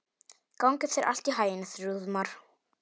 Gangi þér allt í haginn, Þrúðmar.